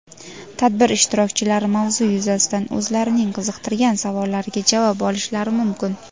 tadbir ishtirokchilari mavzu yuzasidan o‘zlarining qiziqtirgan savollariga javob olishlari mumkin.